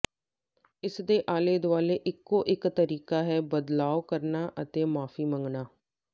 ਇਸਦੇ ਆਲੇ ਦੁਆਲੇ ਇਕੋ ਇਕ ਤਰੀਕਾ ਹੈ ਬਦਲਾਅ ਕਰਨਾ ਅਤੇ ਮੁਆਫੀ ਮੰਗਣਾ